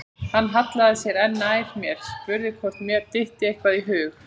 Hann hallaði sér enn nær mér, spurði hvort mér dytti eitthvað í hug.